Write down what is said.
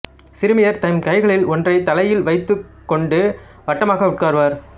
சிறுமியர் தம் கைகளில் ஒன்றைத் தலையில் வைத்துக்கொண்டு வட்டமாக உட்காருவர்